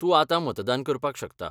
तूं आतां मतदान करपाक शकता.